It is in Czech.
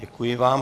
Děkuji vám.